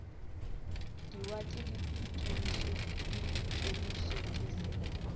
diwate di ikemetše se ke